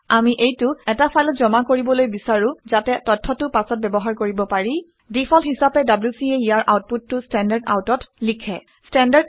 আমি এইটো এটা ফাইলত জমা কৰিবলৈ বিচাৰো ঘাতে তথ্যটো পাছত ব্যৱহাৰ কৰিব পাৰি। ডিফল্ট হিচাপে wc এ ইয়াৰ আউটপুটটো standardout অত লিখে